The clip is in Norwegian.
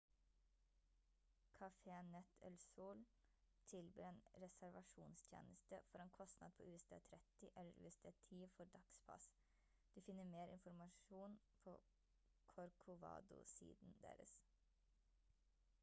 cafenet el sol tilbyr en reservasjonstjeneste for en kostnad på usd 30 eller usd 10 for dagspass du finner mer informasjon på corcovado-siden deres